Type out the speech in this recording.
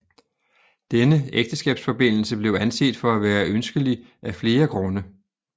Denne ægteskabsforbindelse blev anset for at være ønskelig af flere grunde